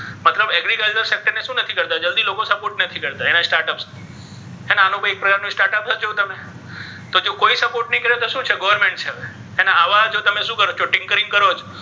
મતલબ agriculture ને શુ નથી કરતા જલ્દી લોકો support નથી કરતા ઍને start up ને હે ને આ લોકોને ઍક પ્રકાર્નુ start up છે ને તો જેઓ કોઇ support નહી કરતુ તો શુ છે government છે હવે હે ને આવા જો તમે શુ કરશો કરો છો.